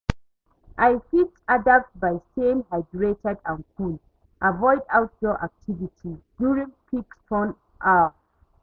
I fit adapt by staying hydrated and cool, avoid outdoor activities during peak sun hour.